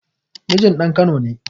Mijin ɗan kano ne